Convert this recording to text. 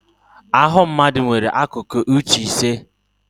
Ahụ mmadụ nwere akụkụ uche ise